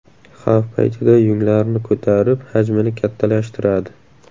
Xavf paytida yunglarini ko‘tarib, hajmini kattalashtiradi.